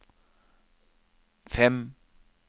fem